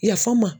Yafan ma